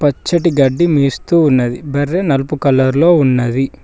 పచ్చటి గడ్డి మేస్తూ ఉన్నది బర్రె నలుపు కలర్ లో ఉన్నది.